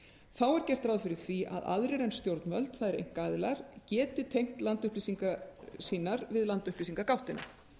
þá er gert ráð fyrir því að aðrir en stjórnvöld það er einkaaðilar geti tengt landupplýsingar sínar við landupplýsingagáttina